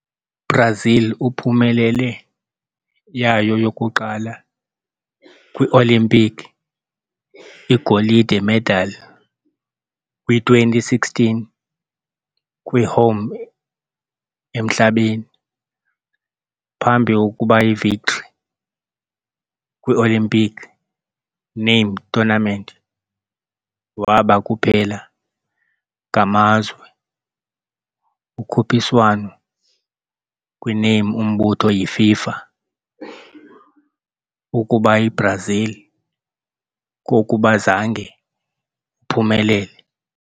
Brazil uphumelele yayo yokuqala kwi-olimpiki, igolide medal kwi - 2016 kwi-home emhlabeni. Phambi ukuba victory, kwi-olimpiki name tournament waba kuphela ngamazwe ukhuphiswano kwi-name umbutho yi - FIFA ukuba Brazil kokuba zange uphumelele.